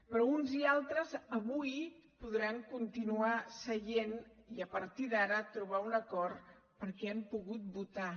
però uns i altres avui podran continuar seient i a partir d’ara trobar un acord perquè han pogut votar